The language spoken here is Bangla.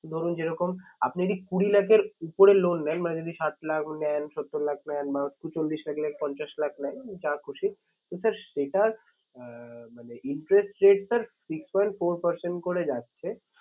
ধরুন যেরকম আপনি যদি কুড়ি লাখের উপরে loan নেন মানে যদি ষাট লাখ নেন সত্তর লাখ নেন বা চল্লিশ লাখ, পঞ্চাশ লাখ নেন যা খুশি তো sir সেটার আহ মানে interest rate sir six point four percent করে যাচ্ছে।